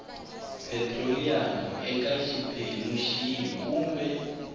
petiroliyamu eka xiphemu xihi kumbe